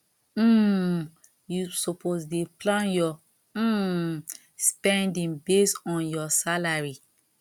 um you suppose dey plan your um spending based on your salary